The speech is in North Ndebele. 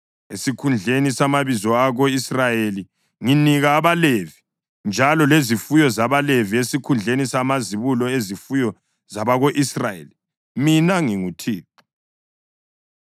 Esikhundleni samabizo ako-Israyeli nginika abaLevi, njalo lezifuyo zabaLevi esikhundleni samazibulo ezifuyo zabako-Israyeli. Mina nginguThixo.”